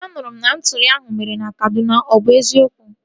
A nụrụ m na ntọri ahụ mere na Kaduna. Ọ bụ eziokwu?